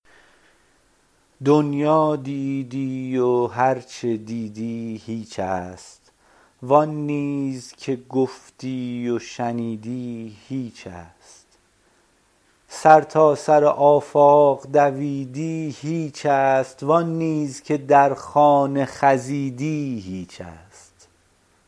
دنیا دیدی و هر چه دیدی هیچ است و آن نیز که گفتی و شنیدی هیچ است سرتاسر آفاق دویدی هیچ است و آن نیز که در خانه خزیدی هیچ است